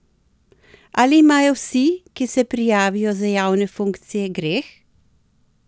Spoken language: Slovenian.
Ali imajo vsi, ki se prijavijo za javne funkcije, greh?